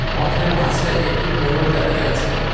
পথের মাঝে একটি ময়ূর দাঁড়িয়ে আছে।